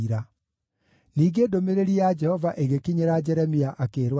Ningĩ ndũmĩrĩri ya Jehova ĩgĩkinyĩra Jeremia, akĩĩrwo atĩrĩ: